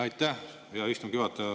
Aitäh, hea istungi juhataja!